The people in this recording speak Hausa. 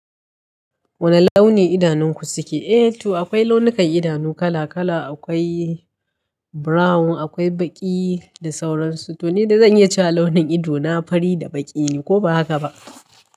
Wane launi idanunku suke? Eh to akwai launukan idanu kala kala. Akwai brown, akwai baƙi da sauransu. To ne dai zan iya cewa launin ido na fari da baƙi ne, ko ba haka ba?